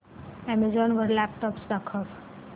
Amazon वर laptops दाखव